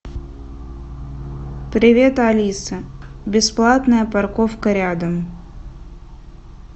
привет алиса бесплатная парковка рядом